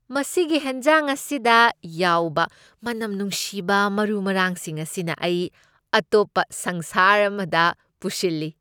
ꯃꯁꯤꯒꯤ ꯍꯦꯟꯖꯥꯡ ꯑꯁꯤꯗ ꯌꯥꯎꯕ ꯃꯅꯝ ꯅꯨꯡꯁꯤꯕ ꯃꯔꯨ ꯃꯔꯥꯡꯁꯤꯡ ꯑꯁꯤꯅ ꯑꯩ ꯑꯇꯣꯞꯄ ꯁꯪꯁꯥꯔ ꯑꯃꯗ ꯄꯨꯁꯤꯜꯂꯤ ꯫